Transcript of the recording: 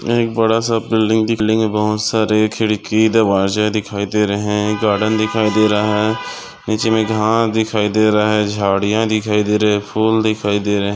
एक बड़ा सा बिल्डिंग दिख रही है बहुत सारे खिड़की दरवाजे दिखाई दे रहे है गार्डन दिखाई दे रहा है नीचे में घास दिखाई दे रहा है झाड़िया दिखाई दे रहे फूल दिखाई दे रहे।